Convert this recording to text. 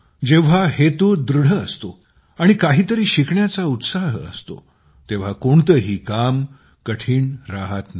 जेव्हा हेतू दृढ असतो आणि काहीतरी शिकण्याचा उत्साह असतो तेव्हा कोणतेही काम कठीण राहत नाही